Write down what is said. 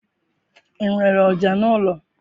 I nwere ọja n'ụlọ?